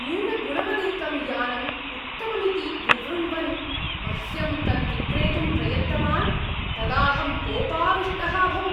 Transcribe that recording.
न्यूनगुणवदेकं यानम् उत्तममिति विवृण्वन् मह्यं तद्विक्रेतुं प्रयत्तवान्, तदाऽहं कोपाविष्टः अभवम्।